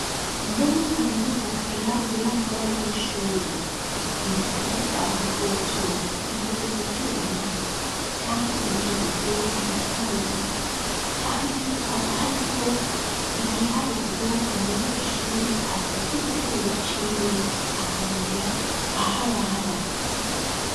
Nomuri kaminuza hasigaye hari uburaro bw'abanyeshure ibitanda vyaho vyovyo bikoze mu vyuma kandi bigeretse kabiri kabiri kandi haba hari ko igiharuhuro umunyeshure azoza igiharuro c'iwe akamenya aharara.